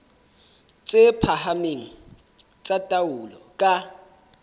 tse phahameng tsa taolo ka